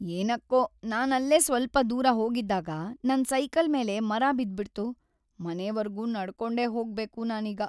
ಏನಕ್ಕೋ ನಾನಲ್ಲೇ ಸ್ವಲ್ಪ ದೂರ ಹೋಗಿದ್ದಾಗ ನನ್ ಸೈಕಲ್ ಮೇಲೆ ಮರ ಬಿದ್ಬಿಡ್ತು, ಮನೆವರ್ಗೂ ನಡ್ಕೊಂಡೇ ಹೋಗ್ಬೇಕು ನಾನೀಗ.